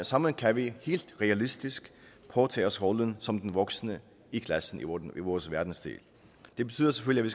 sammen kan vi helt realistisk påtage os rollen som den voksne i klassen i vores verdensdel det betyder selvfølgelig